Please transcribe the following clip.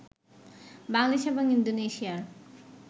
বাংলাদেশ এবং ইন্দোনেশিয়ার